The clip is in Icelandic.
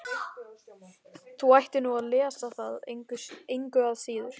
Þú ættir nú að lesa það engu að síður.